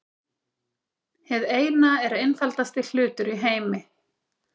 Hið Eina er einfaldasti hlutur í heimi.